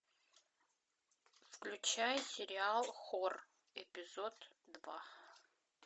включай сериал хор эпизод два